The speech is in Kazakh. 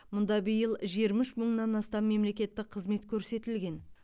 мұнда биыл жиырма үш мыңнан астам мемлекеттік қызмет көрсетілген